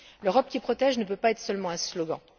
L'Europe qui protège ne peut pas être seulement un slogan.